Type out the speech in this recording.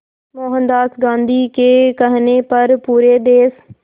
मोहनदास गांधी के कहने पर पूरे देश